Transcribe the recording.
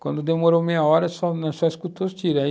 Quando demorou meia hora, nós só escutamos os tiros.